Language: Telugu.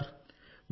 అవును సార్